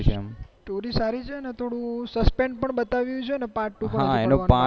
story સારી છે ને થોડું suspense પણ બતાયું છે ને part ટુ માં